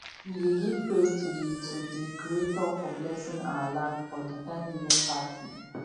we dey give praise to di to di creator for blesing our land for di thanksgiving party